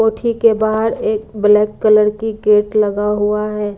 कोठी के बाहर एक ब्लैक कलर की गेट लगा हुआ है।